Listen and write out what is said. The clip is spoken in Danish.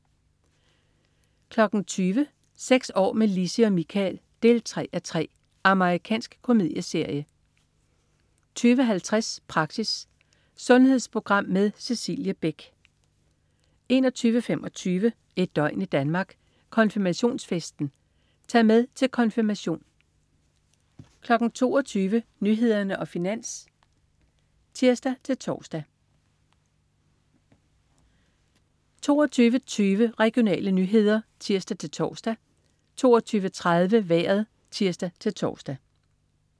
20.00 Seks år med Lissi og Michael 3:3. Amerikansk komedieserie 20.50 Praxis. Sundhedsprogram med Cecilie Beck 21.25 Et døgn i Danmark: Konfirmationsfesten. Tag med til konfirmation 22.00 Nyhederne og Finans (tirs-tors) 22.20 Regionale nyheder (tirs-tors) 22.30 Vejret (tirs-tors)